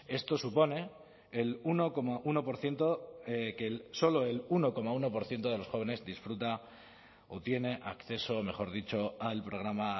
esto supone el uno coma uno por ciento que solo el uno coma uno por ciento de los jóvenes disfruta o tiene acceso mejor dicho al programa